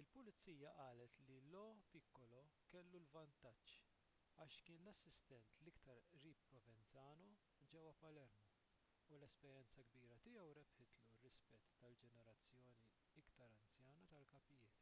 il-pulizija qalet li lo piccolo kellu l-vantaġġ għax kien l-assistent l-iktar qrib provenzano ġewwa palermo u l-esperjenza kbira tiegħu rebħitlu r-rispett tal-ġenerazzjoni iktar anzjana tal-kapijiet